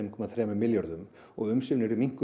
komma þremur milljörðum og umsvifin yrðu minnkuð